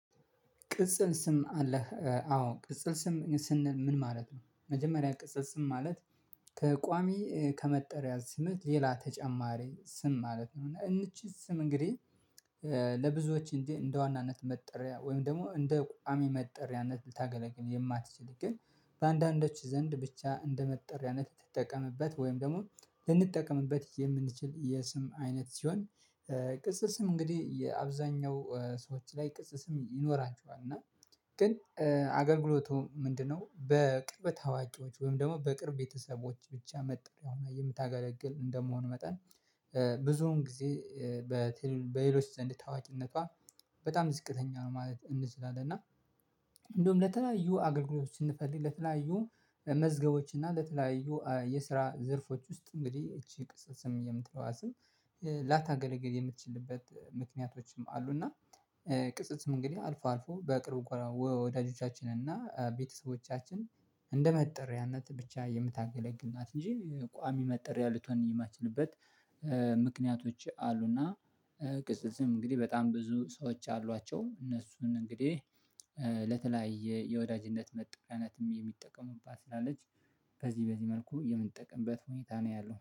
ቅጽል ስም አለህ አዎ ቅጽል ስም ስንል ምን ማለት ነው? መጀመሪያ ቅጽል ስም ማለት ከቋሚ ከመጠሪያ ስምህ ሌላ ተጨማሪ ስም ማለት ነው። እና እንቺ ስም እንግዲህ ለብዙዎች እንጂ እንደ ዋናነት መጠሪያ ወይም ደግሞ እንደ ቋሚ መጠሪያነት ልታገለግል የማትችል ግን በአንዳንዶች ዘንድ ብቻ እንደመጠሪያነት ትጠቀምበት ወይም ደግሞ ልንጠቀምበት የምንችል የስም አይነት ሲሆን። ቅጽል ስም እንግዲህ የአብዛኛው ሰዎች ላይ ቅጽል ስም ይኖሯቸዋል እና ግን አገልግሎቱ ምንድነው? በቅርበት አዋቂዎች ወይም ደግሞ በቅርብ ቤተሰቦች ብቻ መጠረያ ሁና የምታገለግል እንደመሆኑ መጠን ብዙውን ጊዜ በሌሎች ዘንድ ታዋቂነቷ በጣም ዝቅተኛ ነው ማለት እንችላለን። እና እንደውም ለተለያዩ አገልግሎቶች ስንፈልግ ለተለያዩ መዝገቦች እና ለተለያዩ የስራ ዘርፎች ውስጥ እንግዲህ እቺ ቅጽል ስም የምትለዋ ስም ላታገለገል የምትችልበት ምክንያቶችም አሉ። እና ቅጽል ስም እንግዲህ አልፎ አልፎ በቅርብ ወዳጆቻችንን እና ቤተሰቦቻችን እንደመጠሪያነት ብቻ የምታገለግል ናት እንጂ ቋሚ መጠርያ ልትሆን የማትችልበት ምክንያቶች አሉና። ቅጽል ስም እንግዲህ በጣም ብዙ ሰዎች አሏቸው እነሱን እንግዲህ ለተለያየ የወዳጅነት መጠረያነት የሚጠቀሙባት ስላለች በዚህ በዚህ መልኩ የምንጠቀምበት ሁኔታ ነው ያለው